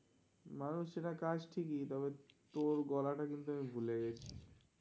মানুষ চেনা কাজ ঠিকই, তবে, তোর গলাটা কিন্তু আমি ভুলে গেছি.